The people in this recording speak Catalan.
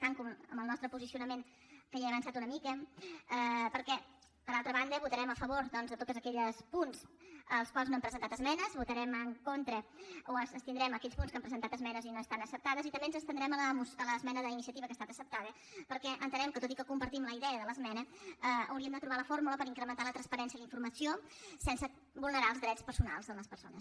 tanco amb el nostre posicionament que ja he avançat una mica perquè per altra banda votarem a favor doncs de tots aquells punts als quals no hem presentat esmenes votarem en contra o ens abstindrem en aquells punts que hi hem presentat esmenes i no estan acceptades i també ens abstindrem a l’esmena d’iniciativa que ha estat acceptada perquè entenem que tot i que compartim la idea de l’esmena hauríem de trobar la fórmula per incrementar la transparència en la informació sense vulnerar els drets personals de les persones